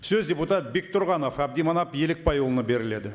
сөз депутат бектұрғанов әбдіманап елікбайұлына беріледі